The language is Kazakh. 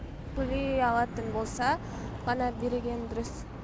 төлей алатын болса ғана берген дұрыс